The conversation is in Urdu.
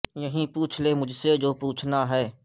یہیں پو چھ لے مجھ سے جو پوچھنا ہے